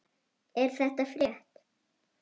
Er það frétt?